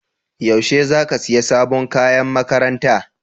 Yaushe za ka siya sabon kayan makaranta?